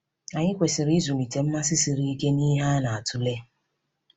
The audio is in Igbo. Anyị kwesịrị ịzụlite mmasị siri ike n’ihe a na-atụle.